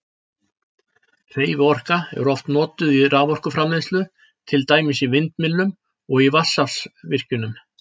Hreyfiorka er oft notuð í raforkuframleiðslu, til dæmis í vindmyllum og í vatnsaflsvirkjunum.